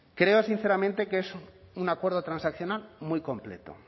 creo sinceramente que es un acuerdo transaccional muy completo